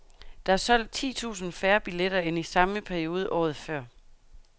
Der er solgt ti tusinde færre billetter end i samme periode året før.